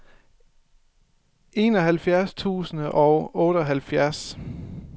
enoghalvfjerds tusind og otteoghalvfjerds